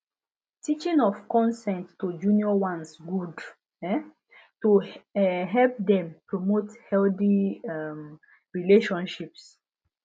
teaching of consent to junior ones good um to um help dem promote healthy um relationships